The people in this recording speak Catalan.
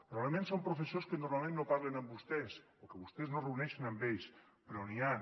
probablement són professors que normalment no parlen amb vostès o que vostès no es reuneixen amb ells però n’hi han